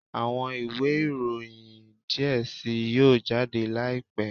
Awọn iwe iroyin diẹ sii yoo jade laipẹ